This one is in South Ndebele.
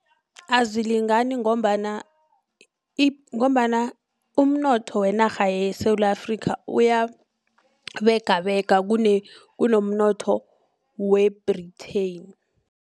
Azilingani ngombana ngombana umnotho wenarha yeSewula Afrika uyabegabega kunomnotho we-Britain.